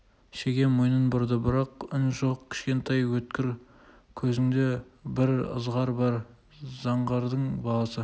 шеге мойнын бұрды бірақ үн жоқ кішкентай өткір көзіңде бір ызғар бар заңғардың баласы